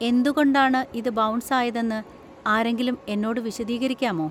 എന്തുകൊണ്ടാണ് ഇത് ബൗൺസ് ആയതെന്ന് ആരെങ്കിലും എന്നോട് വിശദീകരിക്കാമോ?